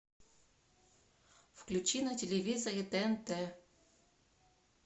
включи на телевизоре тнт